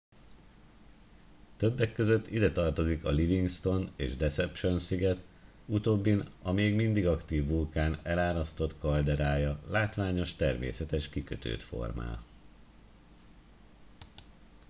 többek között ide tartozik a livingston és deception sziget utóbbin a még mindig aktív vulkán elárasztott kalderája látványos természetes kikötőt formál